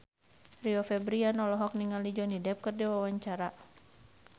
Rio Febrian olohok ningali Johnny Depp keur diwawancara